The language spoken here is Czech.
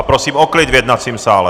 A prosím o klid v jednacím sále!